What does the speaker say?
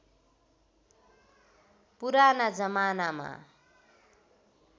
पुराना जमानामा